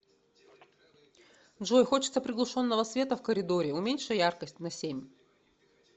джой хочется приглушенного света в коридоре уменьши яркость на семь